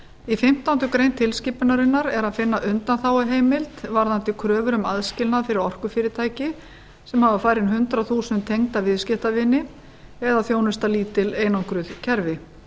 í fimmtándu greinar tilskipunarinnar er að finna undanþáguheimild varðandi kröfur um aðskilnað fyrir orkufyrirtæki sem hafa færri en hundrað þúsund tengda viðskiptavini eða þjónusta lítil einangruð kerfi